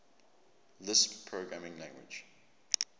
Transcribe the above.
lisp programming language